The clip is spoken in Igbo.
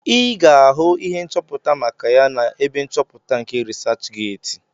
Ị ga-ahụ ihe nchọpụta maka ya n'ebe nchọpụta nke rịsachgeeti